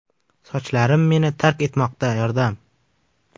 Sochlarim meni tark etmoqda yordam!.